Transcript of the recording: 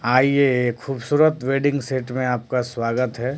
आइए खूबसूरत wedding set में आपका स्वागत है।